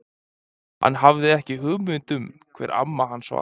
Hann hafði ekki hugmynd um hvar amma hans var.